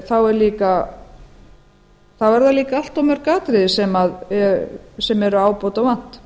þá eru líka allt of mörg atriði sem er ábótavant